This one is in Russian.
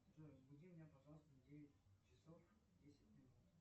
джой разбуди меня пожалуйста в девять часов десять минут